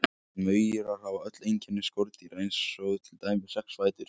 Maurar hafa öll einkenni skordýra eins og til dæmis sex fætur.